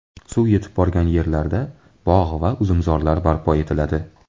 Suv yetib borgan yerlarda bog‘ va uzumzorlar barpo etiladi.